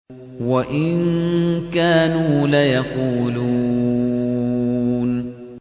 وَإِن كَانُوا لَيَقُولُونَ